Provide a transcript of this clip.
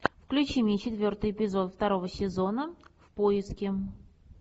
включи мне четвертый эпизод второго сезона в поиске